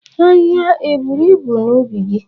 Ahịhịa eburu ibu n'ubi gị?